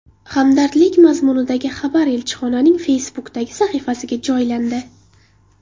Hamdardlik mazmunidagi xabar elchixonaning Facebook’dagi sahifasiga joylandi .